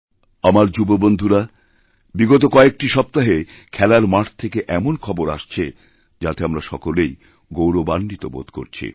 আমার যুববন্ধুরা বিগত কয়েকটি সপ্তাহেখেলার মাঠ থেকে এমন খবর আসছে যাতে আমরা সকলেই গৌরবাণ্বিত বোধ করছি